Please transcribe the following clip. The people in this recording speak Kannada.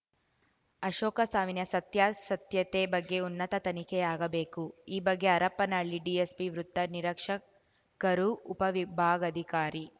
ಅಶೋಕ ಸಾವಿನ ಸತ್ಯಾಸತ್ಯತೆ ಬಗ್ಗೆ ಉನ್ನತ ತನಿಖೆಯಾಗಬೇಕು ಈ ಬಗ್ಗೆ ಹರಪನಹಳ್ಳಿ ಡಿಎಸ್ಪಿ ವೃತ್ತ ನಿರೀಕ್ಷಕರು ಉಪವಿಭಾಗಾಧಿಕಾರಿ